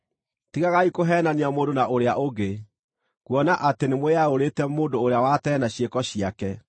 Tigagai kũheenania mũndũ na ũrĩa ũngĩ, kuona atĩ nĩmwĩyaũrĩte mũndũ ũrĩa wa tene na ciĩko ciake,